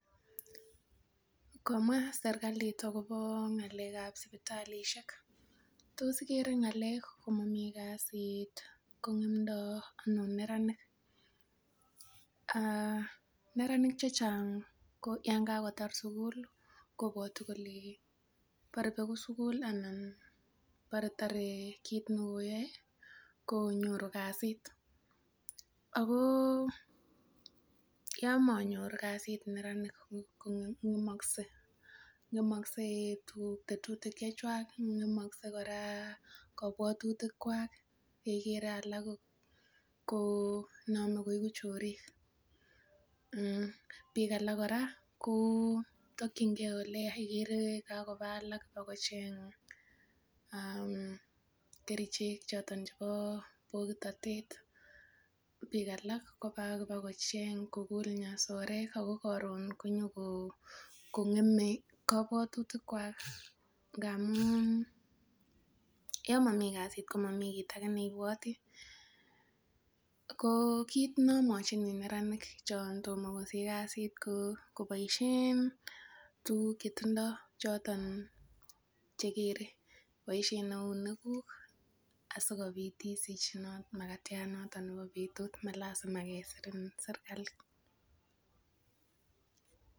komwa serkalit akobo ngalekab sipitalishek toss igere ngalek komomi kazit kongem look anan neraninik aah neranik chechang ko yoon kakotar suguli kobwoti kole bore begu suguli anan bore tore kitnekoyoe konyoru kazit agoo yoon monyor kazit neranik kongemokse ngemokse eeh tuguk tetutik chechwak ngemokse kora kobwotutik kwak keker alak konomi koigu chorik biik alak kotokyin kee ele yaa igere kakoba alak bakocheng mmh kerichek choton chepo bokitotet biik alak kopa kopkocheng kokul nyasorek akokoron koyo kongeme kobwotutikwak ngamun yoon momi kazit komomi kit age neibwoti ko kit neomwochini neranik chontom kosich kazit koboishen tuguk chetindo choton cheker boishen eunekuk asikopit isich makatiat notok nepo betut malasima kosirin serkalit